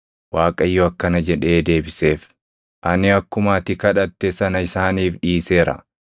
Waaqayyo akkana jedhee deebiseef; “Ani akkuma ati kadhatte sana isaaniif dhiiseera.